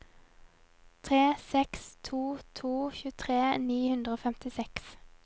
tre seks to to tjuetre ni hundre og femtiseks